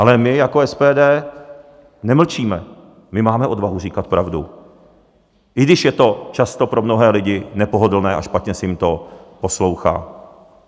Ale my jako SPD nemlčíme, my máme odvahu říkat pravdu, i když je to často pro mnohé lidi nepohodlné a špatně se jim to poslouchá.